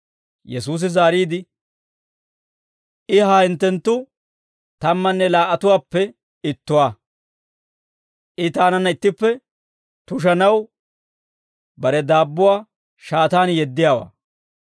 Yesuusi zaariide, «I ha hinttenttu tammanne laa"atuwaappe ittuwaa; I taananna ittippe tushanaw bare daabbuwaa shaataan yeddiyaawaa.